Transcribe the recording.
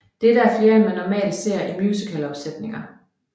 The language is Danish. Dette er flere end man normalt ser i musicalopsætninger